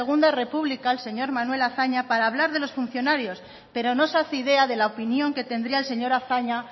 segundo república el señor manuel azaña para hablar de los funcionarios pero no se hace idea de la opinión que tendría el señor azaña